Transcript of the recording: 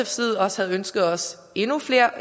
side også havde ønsket os endnu flere